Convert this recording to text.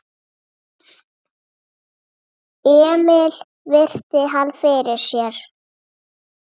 Emil virti hann fyrir sér.